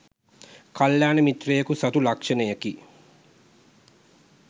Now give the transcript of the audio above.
කල්‍යාණ මිත්‍රයෙකු සතු ලක්‍ෂණයකි.